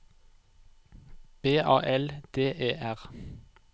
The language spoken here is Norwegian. B A L D E R